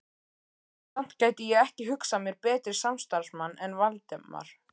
Samt gæti ég ekki hugsað mér betri samstarfsmann en Valdimar